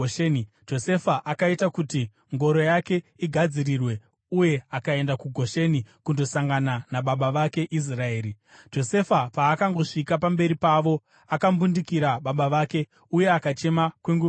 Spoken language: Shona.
Josefa akaita kuti ngoro yake igadzirirwe uye akaenda kuGosheni kundosangana nababa vake Israeri. Josefa paakangosvika pamberi pavo, akambundikira baba vake uye akachema kwenguva refu.